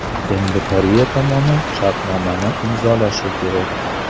Endi Koreya tomoni shartnomani imzolashi kerak.